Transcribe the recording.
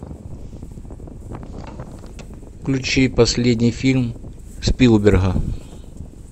включи последний фильм спилберга